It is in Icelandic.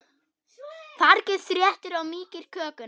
Fargið þéttir og mýkir kökuna.